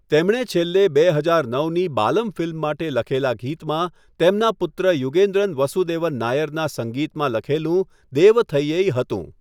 તેમણે છેલ્લે બે હજાર નવની 'બાલમ' ફિલ્મ માટે લખેલા ગીતમાં તેમના પુત્ર યુગેન્દ્રન વસુદેવન નાયરના સંગીતમાં લખેલું 'દેવથઇયૈ' હતું.